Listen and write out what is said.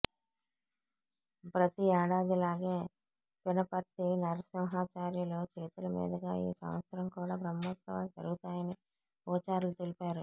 ప్రతి ఏడాదిలాగే పినపర్తి నరసింహాచార్యులు చేతుల మీదుగా ఈ సంవత్సరం కూడా బ్రహ్మోత్సవాలు జరుగుతాయని పూజారులు తెలిపారు